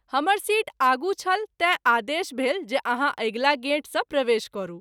हमर सीट आगू छल तैँ आदेश भेल जे आहाँ अगिला गेट स’ प्रवेश करू।